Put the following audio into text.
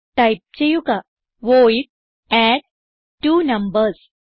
type ചെയ്യുക void അഡ്ട്വണംബർസ്